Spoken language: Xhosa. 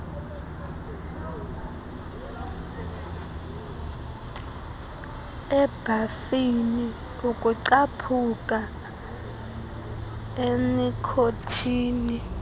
ebhafini ukucaphuka enikhothini